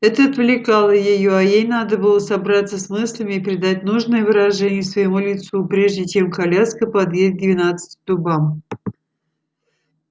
это отвлекало её а ей надо было собраться с мыслями и придать нужное выражение своему лицу прежде чем коляска подъедет к двенадцати дубам